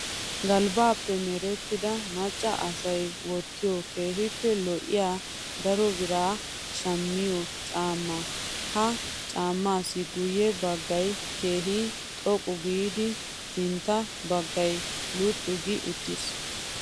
Galbbaappe merettida macca asayi wottiyoo keehippe lo'iyaa darobiran shammiyoo caammaa. Ha caammaassi guyye baggayi keehi xoqqu giidi ssintta baggayi luxxu gi uttis.